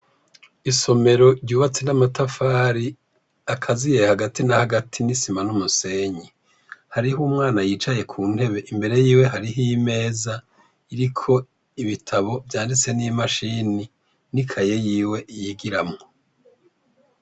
Isomero ryubatse n'amatafari ,akaziye hagati na hagati n'isima n'umusenyi. Hariho umwana yicaye ku ntebe imbere y'iwe, hariho imeza iriko ibitabo vyanditse n'imashini, n'ikaye yiwe yigiramwo.